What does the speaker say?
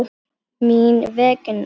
Mín vegna.